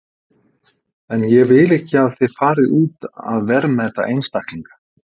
En ég vil ekki að þið farið út í að verðmeta einstaklinga.